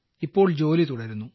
ഇപ്പോൾ ജോലി തുടരുന്നു